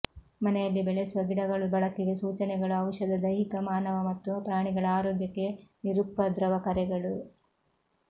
ಮನೆಯಲ್ಲಿ ಬೆಳೆಸುವ ಗಿಡಗಳು ಬಳಕೆಗೆ ಸೂಚನೆಗಳು ಔಷಧ ದೈಹಿಕ ಮಾನವ ಮತ್ತು ಪ್ರಾಣಿಗಳ ಆರೋಗ್ಯಕ್ಕೆ ನಿರುಪದ್ರವ ಕರೆಗಳು